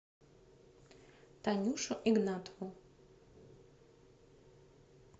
танюшу игнатову